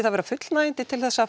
það vera fullnægjandi til að